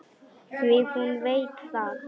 Því hún veit það.